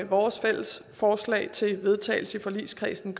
vores fælles forslag til vedtagelse i forligskredsen